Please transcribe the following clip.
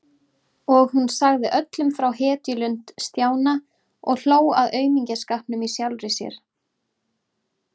Og hún sagði öllum frá hetjulund Stjána og hló að aumingjaskapnum í sjálfri sér.